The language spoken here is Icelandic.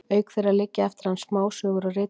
auk þeirra liggja eftir hann smásögur og ritgerðir